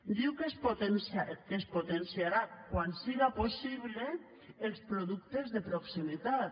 diu que es potenciarà quan siga possible els productes de proximitat